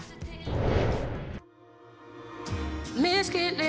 við